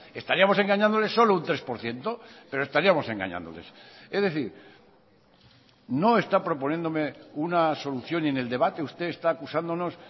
estaríamos engañándoles solo un tres por ciento pero estaríamos engañándoles es decir no está proponiéndome una solución ni en el debate usted está acusándonos